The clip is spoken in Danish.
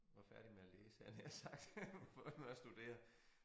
Var færdig med at læse havde jeg nær sagt færdig med at studere